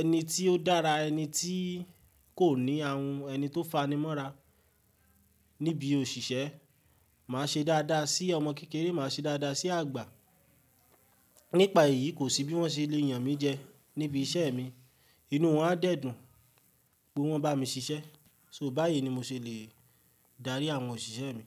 ẹni tí ó dára, ẹni tí kò ní ahun, ẹni tó fani mọ́ra níbi òṣìṣẹ́. Màá ṣe dáadáa sí ọmọ kékeré, màá ṣe dáadáa sí àgbà. Nípa èyí kò sí bí wọ́n ṣe lè yàn mí jẹ níbi iṣẹ́ mi. Inú wọn á dẹ̀ dùn pé wọ́n bá mi ṣiṣẹ́. So báyìí ni mo ṣe lè dárí àwọn òṣìṣẹ́ mi.